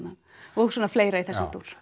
og svona fleira í þessum dúr